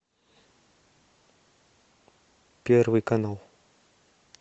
первый канал